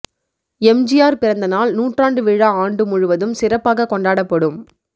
எம்ஜிஆர் பிறந்த நாள் நூற்றாண்டு விழா ஆண்டு முழுவதும் சிறப்பாக கொண்டாடப்படும்